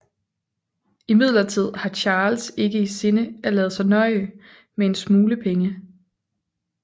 Imidlertid har Charles ikke i sinde at lade sig nøje med en smule penge